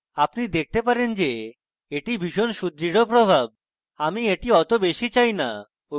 আপনি দেখতে পারেন যে এটি ভীষণ সুদৃঢ় প্রভাব আমি এটি অত বেশী চাই না